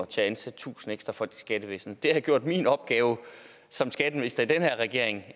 til at ansætte tusind ekstra folk i skattevæsenet det havde gjort min opgave som skatteminister i den her regering